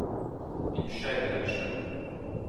In še bi rad šel.